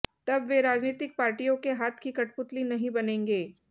तब वे राजनीतिक पार्टियों के हाथ की कठपुतली नहीं बनेंगे